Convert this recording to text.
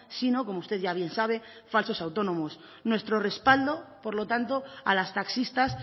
sino como usted ya bien sabe falsos autónomos nuestro respaldo por lo tanto a las taxistas